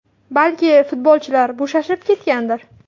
Balki, futbolchilar bo‘shashib ketgandir.